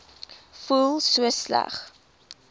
voel so sleg